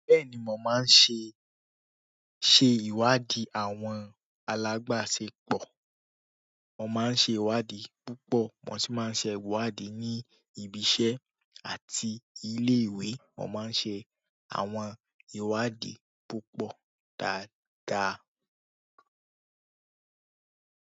Bẹ́ẹ̀ni mo maa n se iwadi alabasepo. Mo máa ń ṣe ìwádìí púpọ̀. Mo sì máa ń ṣe ìwádìí ní ibi iṣẹ́ àti ilé ìwé. Mo máa ń ṣe àwọn ìwádìí púpọ̀ dáadáa.